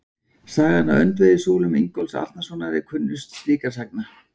Sagan af öndvegissúlum Ingólfs Arnarsonar er kunnust slíkra sagna.